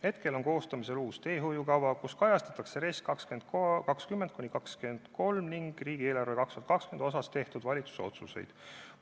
Hetkel on koostamisel uus teehoiukava, milles kajastuvad nii 2020.–2023. aasta RES-i kui ka 2020. aasta riigieelarve kohta tehtud valitsuse otsused.